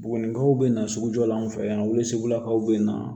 Bugunikaw bɛ na sugujɔ la an fɛ yan o sugulakaw bɛ na